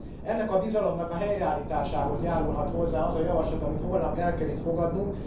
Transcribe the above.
Ennek a bizalomnak a helyreállításához járulhat hozzá az a javaslat, amit holnap el kell itt fogadnunk.